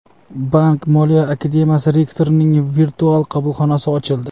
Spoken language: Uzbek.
Bank-moliya akademiyasi rektorining virtual qabulxonasi ochildi.